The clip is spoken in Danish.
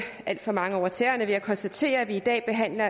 alt for mange over tæerne ved at konstatere at vi i dag behandler